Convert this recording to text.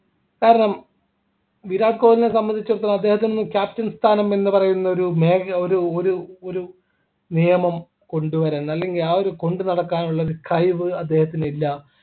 കാരണം വിരാട് കോഹ്ലിയെ സംബന്ധിച്ചെടുത്തോളം അദ്ദേഹത്തിന് ഒന്നും captain സ്ഥാനം എന്ന് പറയുന്ന ഒരുമേഖ ഒരു ഒരു ഒരു നിയമം കൊണ്ടുവര അല്ലെങ്കിൽ ആ ഒരു കൊണ്ടുനടക്കാനുള്ള കഴിവ് അദ്ദേഹത്തിന് ഇല്ല